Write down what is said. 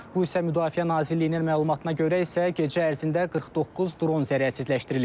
Bu isə Müdafiə Nazirliyinin məlumatına görə isə gecə ərzində 49 dron zərərsizləşdirilib.